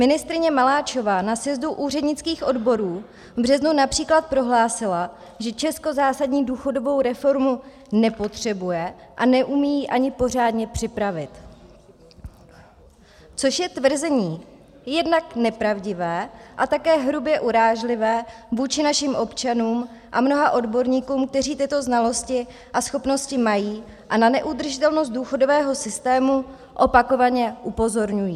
Ministryně Maláčová na sjezdu úřednických odborů v březnu například prohlásila, že Česko zásadní důchodovou reformu nepotřebuje a neumí ji ani pořádně připravit, což je tvrzení jednak nepravdivé a také hrubě urážlivé vůči našim občanům a mnoha odborníkům, kteří tyto znalosti a schopnosti mají a na neudržitelnost důchodového systému opakovaně upozorňují.